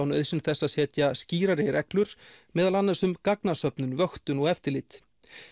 nauðsyn þess að setja skýrari reglur meðal annars um gagnasöfnun vöktun og eftirlit